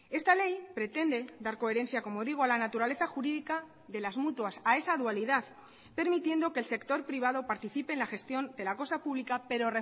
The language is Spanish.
esta ley pretende dar coherencia como digo a la naturaleza jurídica de las mutuas a esa dualidad permitiendo que el sector privado participe en la gestión de la cosa pública pero